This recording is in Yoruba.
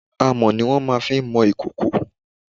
Amọ̀ ni wọ́n fi má ń mọ ìkòkò.